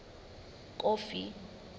kofi